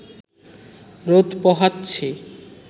রোদ পোহাচ্ছি